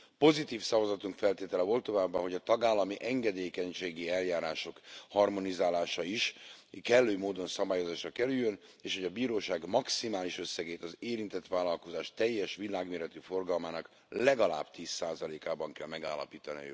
Pozitív szavazatunk feltétele volt továbbá, hogy a tagállami engedékenységi eljárások harmonizálása is kellő módon szabályozásra kerüljön, és hogy a bíróság maximális összegét az érintett vállalkozás teljes világméretű forgalmának legalább tíz százalékában kell megállapítani a jövőben.